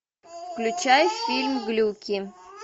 включай фильм глюки